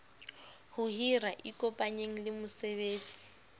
ho hira ikopanyeng le moeletsi